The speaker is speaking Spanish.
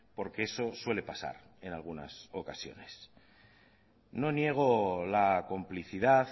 porque eso suele pasar en algunas ocasiones no niego la complicidad